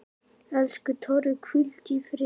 Elsku Torfi, hvíldu í friði.